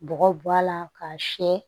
Bɔgɔ b'a la k'a siyɛ